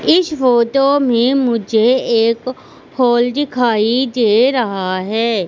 इस फोटो में मुझे एक हॉल दिखाई दे रहा हैं।